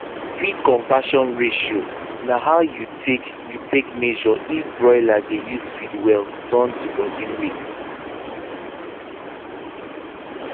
feed conversion ratio na how you take you take measure if broiler dey use feed well turn to body weight